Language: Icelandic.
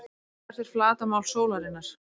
Hvert er flatarmál sólarinnar?